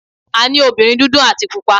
A ní obìnrin dúdú àti Pupa.